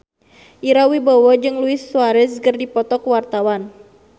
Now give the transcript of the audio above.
Ira Wibowo jeung Luis Suarez keur dipoto ku wartawan